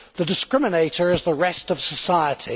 The discriminator is the rest of society.